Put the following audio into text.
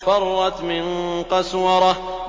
فَرَّتْ مِن قَسْوَرَةٍ